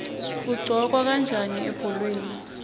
kuqhokwa kanjani ebholeni